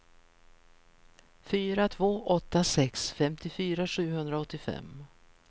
fyra två åtta sex femtiofyra sjuhundraåttiofem